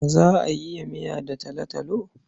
Za a yi miya da talotalo.